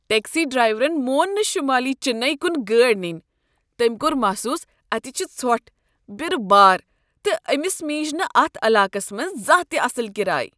Taxi ڈرایورن مون نہٕ شمٲلی چننے کن گٲڑۍ ننۍ۔ تٔمۍ کوٚر محسوس اتہ چھ ژھۄٹھ، برٕ بار، تہٕ أمس میج نہٕ اتھ علاقس مبز زانٛہہ تہ اصل کرایہ۔